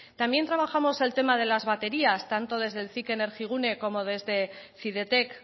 también trabajamos el tema de las baterías tanto desde el cic energigune como desde cidetec